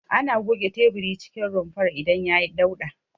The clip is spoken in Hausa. Ana goge teburin cikin rumfar idan yayi dauɗa.